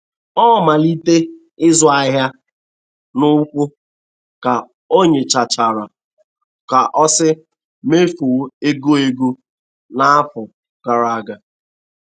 Ọ.malitee ịzụ ahịa.n'ukwu, ka onyochachara ka o si mefuo ego ego n'afọ gara aga.